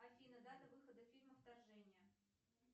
афина дата выхода фильма вторжение